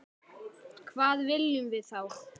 Hvað viljum við þá?